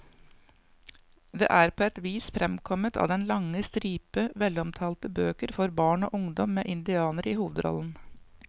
Det er på et vis fremkommet av den lange stripe velomtalte bøker for barn og ungdom med indianere i hovedrollen.